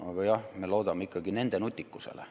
Aga jah, me loodame ikkagi nende nutikusele.